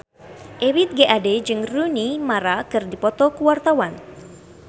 Ebith G. Ade jeung Rooney Mara keur dipoto ku wartawan